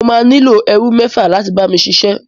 Mo máa nílò ẹrú mẹ́fà láti bá mi ṣiṣẹ́.